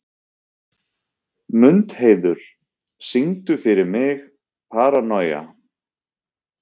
Mundheiður, syngdu fyrir mig „Paranoia“.